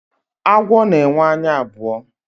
agwọ na enwe anya abụo